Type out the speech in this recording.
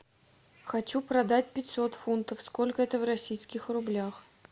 хочу продать пятьсот фунтов сколько это в российских рублях